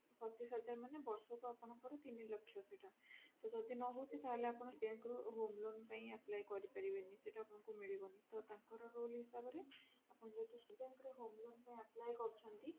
ପଚିଶ ହଜାର ମାନେ ବର୍ଷକୁ ଆପଣଙ୍କର ତିନି ଲକ୍ଷ ସେଇଟା ତ ଯଦି ନହଉଛି ତାହେଲେ ଆପଣ bank ରୁ home loan ପାଇଁ apply କରିପାରିବେନି ସେଟା ଆପଣଙ୍କୁ ମିଳିବନି ତ ଟଙ୍କାର rule ହିସାବରେ ଆପଣ ଯେହେତୁ state bank ରେ home loan ପାଇଁ apply କରିଛନ୍ତି